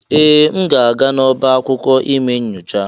Ee! M ga-aga n'ọba akwụkwọ ime nyocha?